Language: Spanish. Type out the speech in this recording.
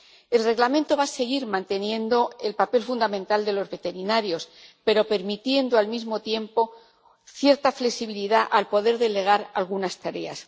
El Reglamento va a seguir manteniendo el papel fundamental de los veterinarios, pero permitiendo, al mismo tiempo, cierta flexibilidad, al poder delegar algunas tareas.